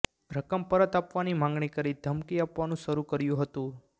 રકમ પરત આપવાની માંગણી કરી ધમકી આપવાનું શરૃ કર્યુ હતું